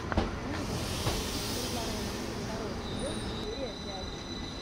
медичи повелители флоренции второй сезон серия пять